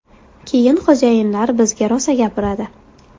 Keyin xo‘jayinlar bizga rosa gapiradi.